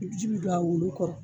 ji bi don a wolo kɔrɔ